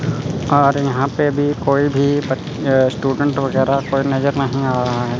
और यहां पे भी कोई भी अ स्टूडेंट वगैरा कोई नजर नहीं आ रहा है।